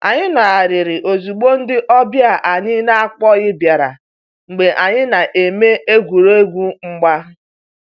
Anyị nọgharịrị ozugbo ndị ọbịa anyị n'akpoghi biara mgbe anyị na-eme egwuregwu mgba